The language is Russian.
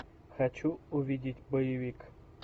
хочу увидеть боевик